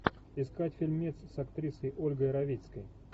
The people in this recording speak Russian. искать фильмец с актрисой ольгой равицкой